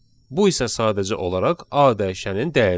Bu isə sadəcə olaraq A dəyişənin dəyəridir.